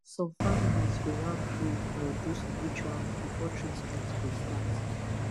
some families go wan pray or do ritual before treatment go start